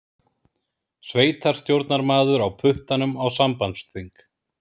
Sveitarstjórnarmaður á puttanum á sambandsþing